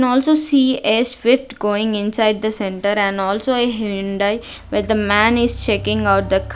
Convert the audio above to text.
Can also see a shift going inside the centre and also Hyundai with the man is checking out the --